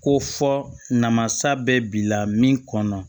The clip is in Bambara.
Ko fɔ namasa bɛ bi la min kɔnɔ